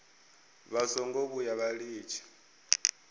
vha songo vhuya vha litsha